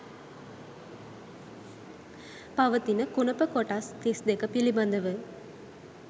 පවතින කුණප කොටස් 32 පිළිබඳව